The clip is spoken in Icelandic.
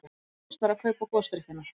Fyrst var að kaupa gosdrykkina.